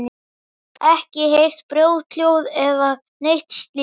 Ekki heyrt brothljóð eða neitt slíkt?